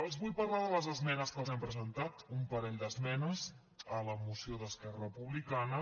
els vull parlar de les esmenes que els hem presentat un parell d’esmenes a la moció d’esquerra republi·cana